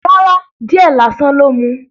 Rárá. Díẹ̀ lásán ló mu.